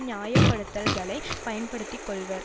நியாயப்படுத்தல்களை பயன்படுத்தி கொள்வர்